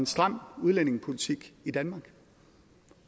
stram udlændingepolitik i danmark